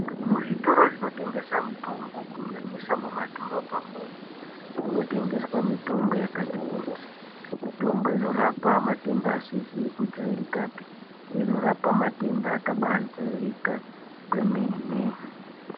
Muzvito zvinotengesa mitombo kunyanyisa mumadhorobhamwo umo, kunotengeswa mitombo yakati kuti. Mitombo inorapa matenda asizi kujairikapi neinorapa matenda akabajairika kwemene.